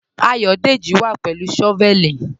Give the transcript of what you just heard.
Ayọ̀dẹ́jì wà pẹ̀lú shọ́vẹ̀lì.